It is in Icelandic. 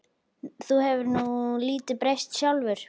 Þú hefur nú lítið breyst sjálfur.